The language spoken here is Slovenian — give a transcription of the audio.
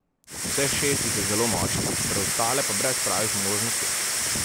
Vseh šest jih je zelo močnih, preostale pa brez pravih možnosti.